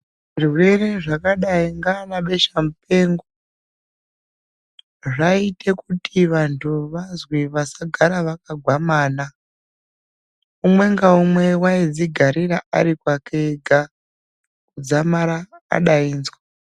Zvirwere zvakadai ndiana besha mupengo, zvaiita kuti vantu vazwe vasagara vakagwamana, umwe ngaumwe vaidzigarira arikwake ega kudzamara adainzwa.